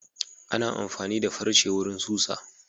Ana amfani da farce wurin susa.